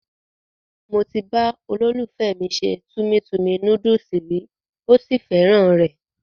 Mo ti bá olólùfẹ́ mi se Tummy Tummy Noodles rí,ó sì fẹ́ràn rẹ̀.